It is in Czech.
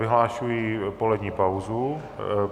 Vyhlašuji polední pauzu.